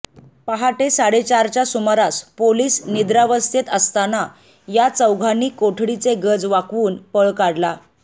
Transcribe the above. पहाटे साडेचारच्या सुमारास पोलीस निद्रावस्थेत असताना या चौघांनी कोठडीचे गज वाकवून पळ काढला